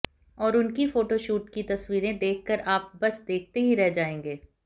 और उनकी फोटोशूट की तस्वीरें देखकर आप बस देखते ही रह जाएंगे